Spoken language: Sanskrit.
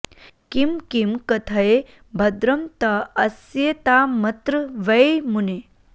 किं किं कथय भद्रं त आस्यतामत्र वै मुने